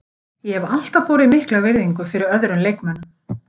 Ég hef alltaf borið mikla virðingu fyrir öðrum leikmönnum.